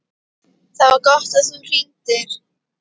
ÞAÐ VAR GOTT AÐ ÞÚ HRINGDIR.